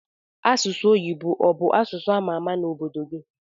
Asụsụ oyibo obu asụsụ amama na obodo gi?